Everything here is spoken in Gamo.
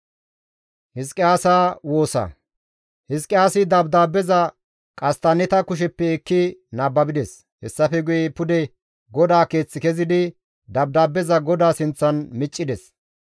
Hizqiyaasi Dabdaabeza qasttanneta kusheppe ekki nababides; hessafe guye pude GODAA Keeth kezidi dabdaabbeza GODAA sinththan miccides.